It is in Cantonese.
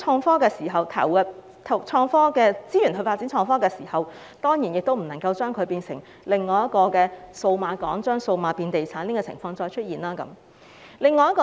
在投入資源發展創科時，亦要避免製造另一個數碼港，令"數碼變地產"的情況再次出現。